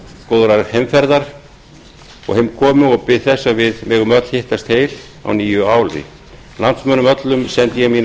góðrar heimferðar og heimkomu og bið þess að við megum öll hittast heil á nýju ári landsmönnum öllum sendi ég mínar